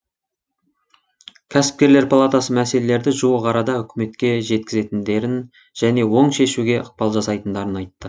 кәсіпкерлер палатасы мәселелерді жуық арада үкіметке жеткізетіндерін және оң шешуге ықпал жасайтындарын айтты